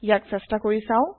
ইয়াক চেষ্টা কৰি চাওঁ